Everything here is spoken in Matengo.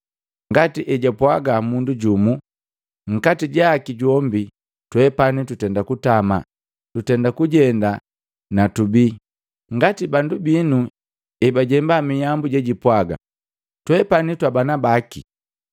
Ngati hejapwaga mundu jumu, ‘nkati jaki jombi twepani tutenda kutama, tutenda kujenda na tubi!’ Ngati bandu binu ebajemba mihambu jejipwaga, ‘Twepani twabana baki.’